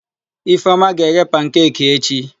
Ifeọma ga-eghe pankeki echi.